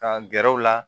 Ka gɛrɛ u la